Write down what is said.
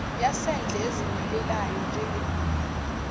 yasendle ezimilelayo njengembuya